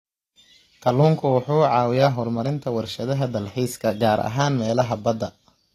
Kalluunku wuxuu caawiyaa horumarinta warshadaha dalxiiska, gaar ahaan meelaha badda.